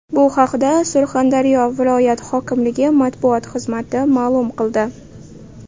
Bu haqda Surxondaryo viloyat hokimligi matbuot xizmati ma’lum qildi.